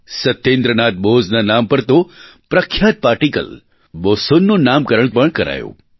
સત્યેન્દ્રનાથ બોઝનાં નામ પર તો પ્રખ્યાત પાર્ટીકલ બોસોન નું નામકરણ પણ કરાયું